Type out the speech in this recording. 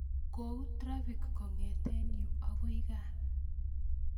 Kou trafik kong'eten yu agoi gaa